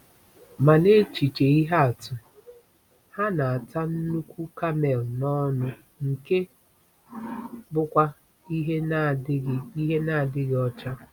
Ma n’echiche ihe atụ, ha na-ata nnukwu kamel n’ọnụ, nke bụkwa ihe na-adịghị ihe na-adịghị ọcha.